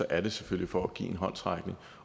er det selvfølgelig for at give en håndsrækning